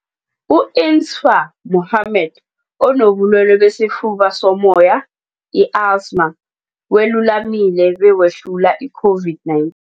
U-Insaaf Mohammed onobulwele besifuba sommoya, i-asthma, welulamile bewehlula i-COVID-19.